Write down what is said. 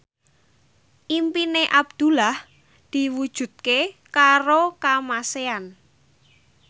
impine Abdullah diwujudke karo Kamasean